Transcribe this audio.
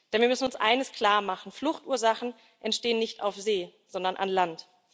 Denn wir müssen uns eines klarmachen Fluchtursachen entstehen nicht auf See, sondern an Land.